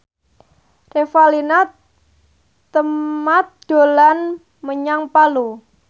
Revalina Temat dolan menyang Palu